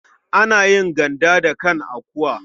Ana yin ganda da kan akuwa.